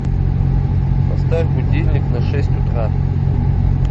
поставь будильник на шесть утра